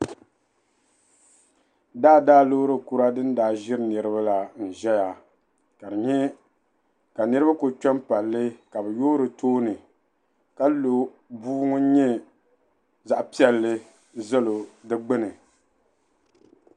Niribi ayi n ʒiya ti karili gbunni ka bi ʒiya tii ŋɔ mi nyala tuwa. ka lɔɔri ʒa bi sani ka yaa poolii pa lɔɔriŋɔ zuɣu saa, niribi ayi ŋɔ sunsuuni teebuli ʒɛmi ka bi bɛ nyura tam ya paɣa mini doo n nya niribi ayi ŋɔ.